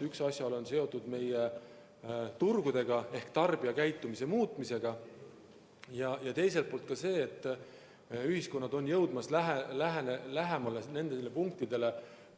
Üks asjaolu on seotud meie turgudega ehk tarbija käitumise muutumisega ja teine asjaolu on see, et ühiskond on jõudmas lähemale sellele punktile,